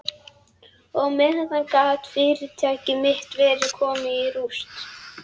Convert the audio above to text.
Og á meðan gat fyrirtæki mitt verið komið í rúst.